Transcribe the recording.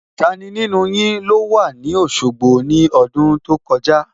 Tani nínú yin ló wà ní Òṣogbo ní ọdún tó kọjá?